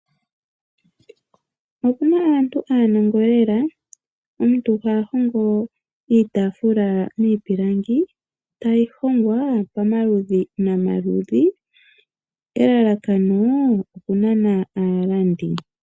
Opuna aantu aanongo lela, omuntu ha hongo iitaafula miipilangi tayi hongwa pamaludhi nomaludhi elalakano okunana aalandi.